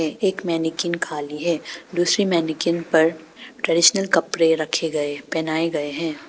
एक मैनिक्विन खाली है दूसरी मैनिक्विन पर ट्रेडिशनल कपड़े रखे गए पहनाए गए हैं।